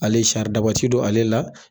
Ale sari daba ti don ale la